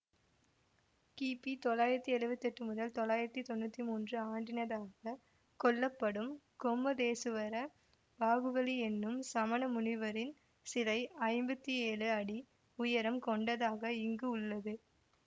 கிபி தொள்ளாயிரத்தி எழுவத்தி எட்டு முதல் தொள்ளாயிரத்தி தொன்னூத்தி மூன்று ஆண்டினதாகக் கொள்ளப்படும் கொம்மதேசுவர பாகுபலி என்னும் சமண முனிவரின் சிலை ஐம்பத்தி ஏழு அடி உயரம் கொண்டதாக இங்கு உள்ளது